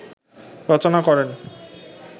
রচনা করেন